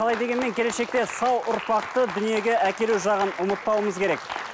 қалай дегенмен келешекте сау ұрпақты дүниеге әкелу жағын ұмытпауымыз керек